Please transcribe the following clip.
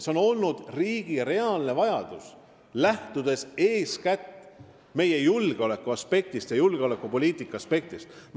See on olnud riigi reaalne vajadus, lähtudes eeskätt meie julgeoleku ja julgeolekupoliitika aspektist.